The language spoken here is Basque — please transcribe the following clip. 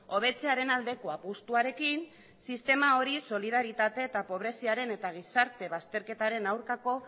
hobetzearen aldeko apustuarekin sistema hori solidaritate eta pobreziaren eta gizarte bazterketaren aurkako